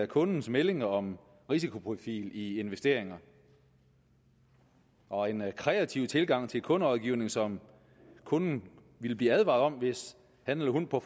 kundens meldinger om risikoprofil i investeringer og en kreativ tilgang til kunderådgivning som kunden ville blive advaret om hvis han eller hun på